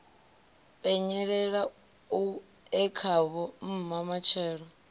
penyelela e khavho mma matshelo